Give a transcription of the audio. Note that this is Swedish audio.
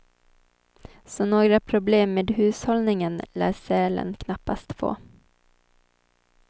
Så några problem med hushållningen lär sälen knappast få.